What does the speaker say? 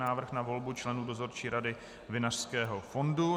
Návrh na volbu členů Dozorčí rady Vinařského fondu